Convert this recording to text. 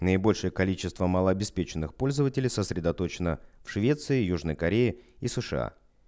наибольшее количество малообеспеченных пользователей сосредоточена в швеции южной кореи и сша